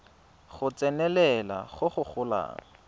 go tsenelela go go golang